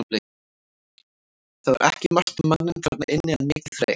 Það var ekki margt um manninn þarna inni en mikið reykt.